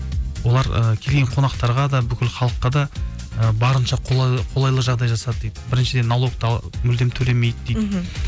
олар ы келген қонақтарға да бүкіл халыққа да ы барынша қолайлы жағдай жасады дейді біріншіден налогты мүлдем төлемейді дейді мхм